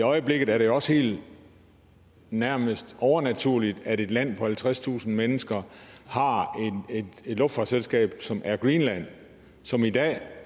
øjeblikket er det jo også helt nærmest overnaturligt at et land på halvtredstusind mennesker har et luftfartsselskab som er greenland som i dag